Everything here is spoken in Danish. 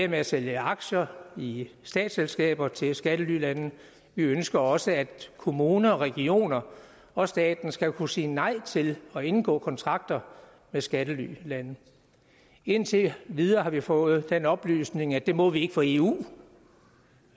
med at sælge aktier i statsselskaber til skattelylande vi ønsker også at kommuner regioner og staten skal kunne sige nej til at indgå kontrakter med skattelylande indtil videre har vi fået den oplysning at det må vi ikke for eu